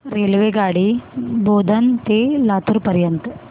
रेल्वेगाडी बोधन ते लातूर पर्यंत